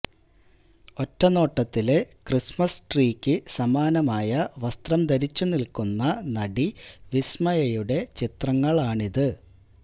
ഒറ്റനോട്ടത്തില് Christmas ട്രീക്ക് സമാനമായ വസ്ത്രം ധരിച്ചു നില്ക്കുന്ന നടി വിസ്മയയുടെ ചിത്രങ്ങളാണിത്